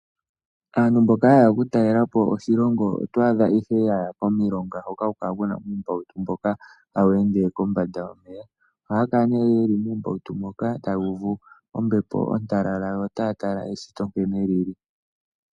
Aantu mboka haye ya okutalela po oshilongo oto adha ihe ya ya komilonga hoka haku kala ku na uumbautu mboka hawu ende kombanda yomeya. Ohaya kala nee ye li muumbautu moka taya uvu ombepo ontalala yo otaya tala eshito nkene li li.